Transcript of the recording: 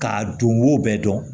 K'a don mo bɛɛ dɔn